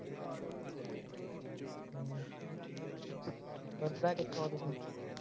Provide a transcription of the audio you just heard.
ਕਿਥੋਂ ਆ ਤੁਸੀਂ